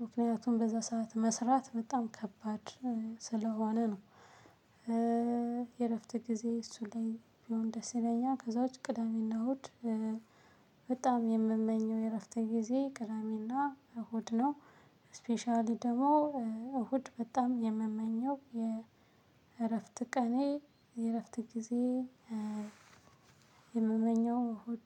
ምክንያቱም በዛ ሰዓት መስራት በጣም ከባድ ስለሆነ ነው። የእረፍት ጊዜ እሱ ላይ ቢሆን ደስ ይለኛል። ከዛ ውጪ ቅዳሜና እሁድ። በጣም የምመኘው የእረፍተ ጊዜ ቅዳሜና እሁድ ነው። ስፔሻሊ ደግሞ እሁድ በጣም የምመኘው የእረፍት ቀኔ የእረፍት ጊዜ የምመኘው እሁድ